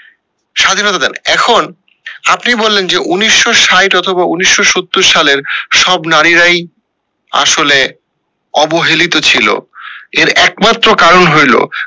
স্বাধীনতা দেন এখন আপনি বললেন যে উনিশশো সাইট অথবা উনিশশো সত্তর সালের সব নারীরাই আসলে অবহেলিত ছিল এর একমাত্র কারণ হইলো